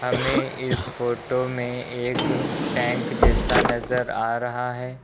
हमें इस फोटो में एक टैंक जैसा नजर आ रहा है।